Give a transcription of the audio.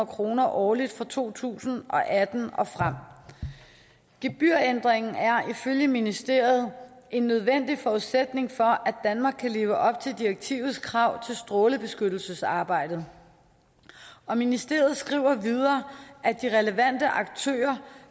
kroner årligt fra to tusind og atten og frem gebyrændringen er ifølge ministeriet en nødvendig forudsætning for at danmark kan leve op til direktivets krav til strålebeskyttelsesarbejdet og ministeriet skriver videre at de relevante aktører